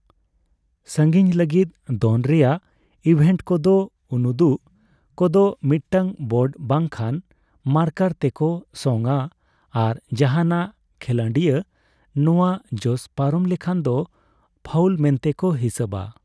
ᱥᱟᱺᱜᱤᱧ ᱞᱟᱹᱜᱤᱫ ᱫᱚᱱ ᱨᱮᱭᱟᱜ ᱤᱵᱷᱮᱱᱴ ᱠᱚᱫᱚ ᱩᱱᱩᱫᱩᱜ ᱠᱚᱫᱚ ᱢᱤᱫᱴᱟᱝ ᱵᱳᱨᱰ ᱵᱟᱝ ᱠᱷᱟᱱ ᱢᱟᱨᱠᱟᱨ ᱛᱮᱠᱚ ᱥᱚᱝ ᱟ ᱟᱨ ᱡᱟᱦᱟᱱᱟᱜ ᱠᱷᱤᱞᱟᱹᱰᱤᱭᱟᱹ ᱱᱚᱣᱟ ᱡᱚᱥ ᱯᱟᱨᱚᱢ ᱞᱮᱠᱷᱟᱱ ᱫᱚ ᱯᱷᱟᱩᱞ ᱢᱮᱱᱛᱮ ᱠᱚ ᱦᱤᱥᱟᱹᱵᱟ ᱾